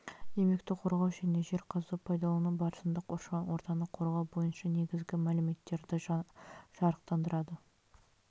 еңбекті қорғау және жер қазу пайдалану барысында қоршаған ортаны қорғау бойынша негізгі мәліметтерді жарықтандырады